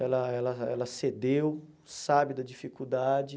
Ela ela ela cedeu, sabe da dificuldade.